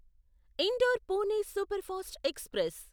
indoor Pune superfast express